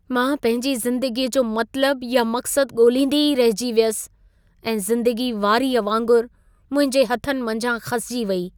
मां पंहिंजी ज़िंदगीअ जो मतलबु या मक़्सद ॻोल्हींदी ई रहिजी वियसि ऐं ज़िंदगी वारीअ वांगुरु मुंहिंजे हथनि मंझां खसिजी वेई।